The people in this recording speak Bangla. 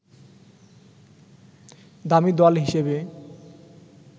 দামি দল হিসেবে